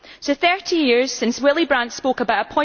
So, 30 years since Willy Brandt spoke about